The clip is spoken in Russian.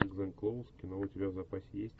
гленн клоуз кино у тебя в запасе есть